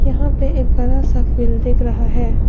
यहां पे एक बड़ा सा फील्ड दिख रहा है।